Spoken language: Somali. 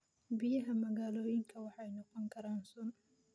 Biyaha magaalooyinka waxay noqon karaan sun.